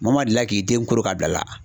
Maa maa delila k'i den koro ka bila a la.